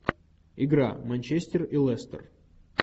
игра манчестер и лестер